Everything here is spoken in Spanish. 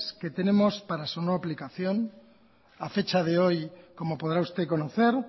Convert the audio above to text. que tenemos para su no aplicación a fecha de hoy como podrá usted conocer